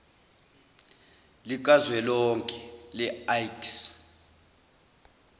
likazwelonke le iks